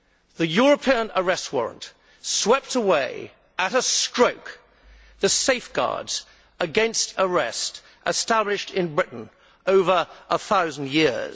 The European Arrest Warrant swept away, at a stroke, the safeguards against arrest established in Britain over a thousand years.